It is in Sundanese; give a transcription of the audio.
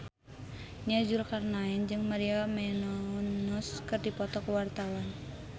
Nia Zulkarnaen jeung Maria Menounos keur dipoto ku wartawan